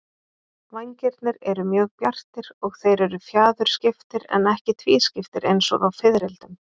Vængirnir eru mjög bjartir og þeir eru fjaðurskiptir en ekki tvískiptir eins og á fiðrildum.